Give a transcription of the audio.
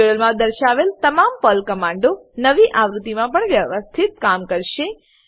ટ્યુટોરીયલોમાં દર્શાવેલ તમામ પર્લ કમાંડો નવી આવૃત્તિમાં પણ વ્યવસ્થિત કામ કરશે